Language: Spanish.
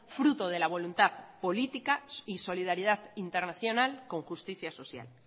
fruto de la voluntad política y solidaridad internacional con justicia social